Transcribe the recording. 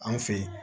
An fe yen